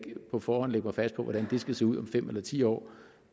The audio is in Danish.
på forhånd lægge mig fast på hvordan det skal se ud om fem eller ti år